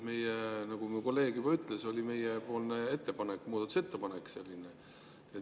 Nagu minu kolleeg juba ütles, meie muudatusettepanek oli selline.